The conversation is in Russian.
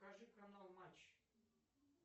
покажи канал матч